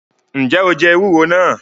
Njẹ o jẹ ewúro náà?